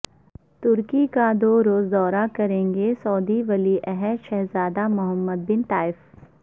ترکی کا دو روزہ دورہ کریں گے سعودی ولی عہد شہزادہ محمد بن نایف